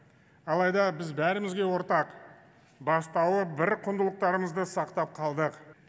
алайда біз бәрімізге ортақ бастауы бір құндылықтарымызды сақтап қалдық